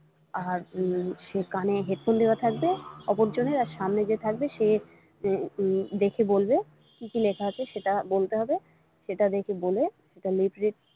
আর সে কানে headphone দেওয়া থাকবে অপরজনের আর সামনে যে থাকবে সে উম দেখে বলবে কি কি লেখা আছে সেটা বলতে হবে সেটা দেখে বলে সেটা lip read ।